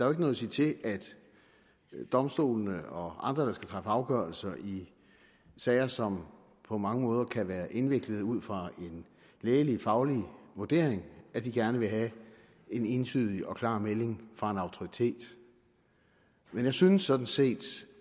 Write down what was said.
er noget at sige til at domstolene og andre der skal træffe afgørelser i sager som på mange måder kan være indviklede ud fra en lægefaglig vurdering gerne vil have en entydig og klar melding fra en autoritet men jeg synes sådan set